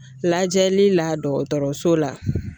Lajɛli la dɔgɔtɔrɔso la